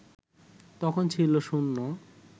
তখন ছিল শুন্য